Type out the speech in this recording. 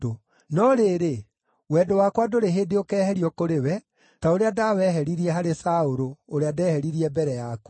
No rĩrĩ, wendo wakwa ndũrĩ hĩndĩ ũkeeherio kũrĩ we, ta ũrĩa ndaaweheririe harĩ Saũlũ, ũrĩa ndeheririe mbere yaku.